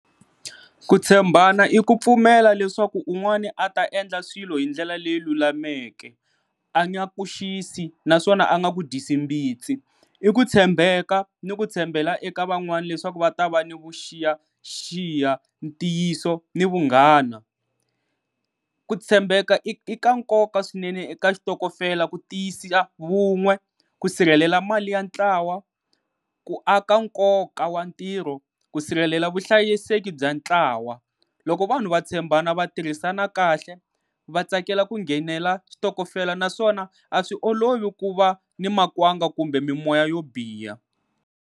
Ku tshembana i ku pfumela leswaku un'wani a ta endla swilo hi ndlela leyi lulameke a nga ku xisi naswona a nga ku dyisi mbitsi i ku tshembeka ni ku tshembela eka van'wani leswaku va ta va ni vuxiyaxiya, ntiyiso ni vunghana. Ku tshembeka i ka nkoka swinene eka xitokofela ku tiyisisa vun'we, ku sirhelela mali ya ntlawa, ku aka nkoka wa ntirho, ku sirhelela vuhlayiseki bya ntlawa. Loko vanhu va tshembana va tirhisana kahle va tsakela ku nghenela switokofela naswona a swi olovi ku va ni makwanga kumbe mimoya yo biha.